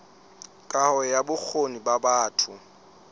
kaho ya bokgoni ba batho